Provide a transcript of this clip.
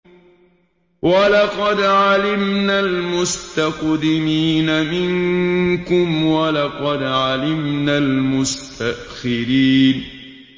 وَلَقَدْ عَلِمْنَا الْمُسْتَقْدِمِينَ مِنكُمْ وَلَقَدْ عَلِمْنَا الْمُسْتَأْخِرِينَ